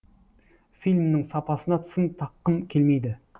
фильмнің сапасына сын таққым келмейді